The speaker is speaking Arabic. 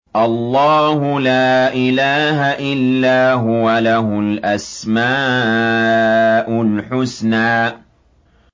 اللَّهُ لَا إِلَٰهَ إِلَّا هُوَ ۖ لَهُ الْأَسْمَاءُ الْحُسْنَىٰ